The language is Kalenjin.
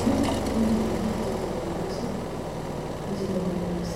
Yuu komiten biik chetonondos, mii chetebng'wondos,